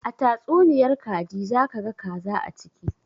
A tastunniyar kaji za ka ga kaza a ciki